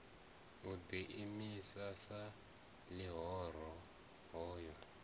o ḓiimisa sa ḽihoro hoyo